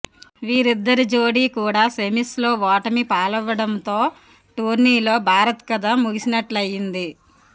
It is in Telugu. వీరిద్దరి జోడీ కూడా సెమీస్లో ఓటమిపాలవ్వడంతో టోర్నీలో భారత్ కథ ముగిసినట్లైంది